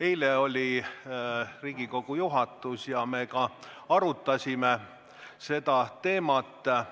Eile oli Riigikogu juhatus koos ja me arutasime ka seda,